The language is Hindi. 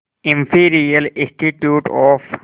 imperial institute of